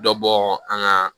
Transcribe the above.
Dɔ bɔ an ka